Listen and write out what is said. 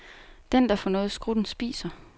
Den, der får noget i skrutten, spiser.